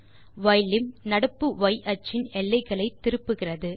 யிலிம் நடப்பு ய் அச்சின் எல்லைகளை திருப்புகிறது